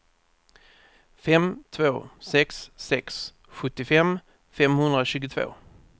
fem två sex sex sjuttiofem femhundratjugotvå